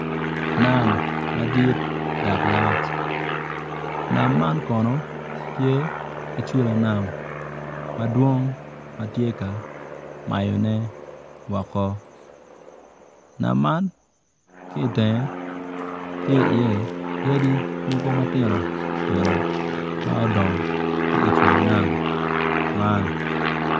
Nam madit dak lac nam man kono tye ki cula nam madwong ma tye ka mayone woko nam ki itenge tye iye odi mogo matino tino ma odngo ki icula nam man